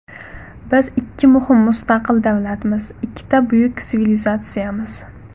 Biz ikki muhim mustaqil davlatmiz, ikkita buyuk sivilizatsiyamiz.